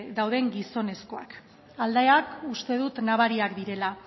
dauden gizonezkoak aldeak uste dut nabariak direla